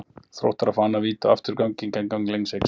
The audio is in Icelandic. Þróttarar fá annað víti og aftur gegn gangi leiksins!